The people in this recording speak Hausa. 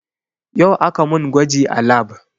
Yau aka mun gwaji a lab